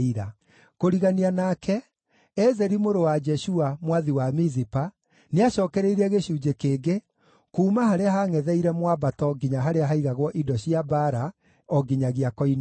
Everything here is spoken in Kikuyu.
Kũrigania nake, Ezeri mũrũ wa Jeshua, mwathi wa Mizipa, nĩacookereirie gĩcunjĩ kĩngĩ kuuma harĩa haangʼetheire mwambato nginya harĩa haigagwo indo cia mbaara, o nginyagia koine-inĩ.